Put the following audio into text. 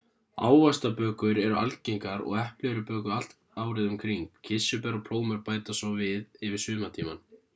ávaxtabökur eru algengar og epli eru bökuð allt árið um kring kirsuber og plómur bætast svo við yfir sumartímann